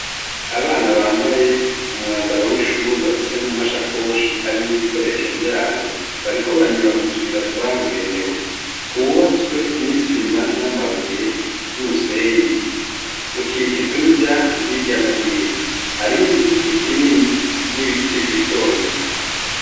Abana bambaye umwambaro w' ishure bafise n' amasakoshi arimwo ibikoresho vyabo bariko banyura mu tuyira twabigenewe twubatswe n' isima n' amabuye n' umusenyi, dukikijwe n' ivyatsi hirya no hino hariyo n' igiti kinini n' ibiti bito bito.